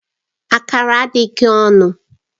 Akara adịghị ọnụ